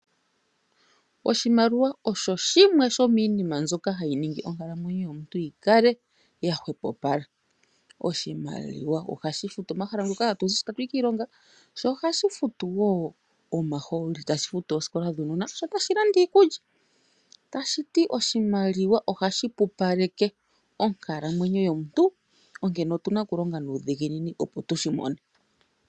Oshimaliwa osho shimwe shomiinima mbyoka hayi ningi onkalamwenyo yomuntu yikale yahwepopala. Oshimaliwa ohashi futu omahala ngoka hatuzi tatuyi kiilonga, sho ohashi futu wo omahooli sho tashi futu oosikola dhuunona, sho tashi landa iikulya. Tashiti oshimaliwa ohashi pupaleke onkalamwenyo yomuntu onkene otuna okulonga nuuhiginini opo tushimone.